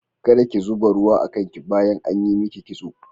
Kada ki zuba ruwa a kan ki bayan an yi miki kitso.